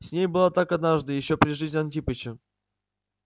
с ней было так однажды ещё при жизни антипыча